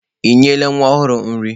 Ị nyela nwa ọhụrụ nri?